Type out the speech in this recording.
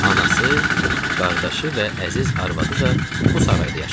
Anası, qardaşı və əziz arvadı da bu sarayda yaşayır.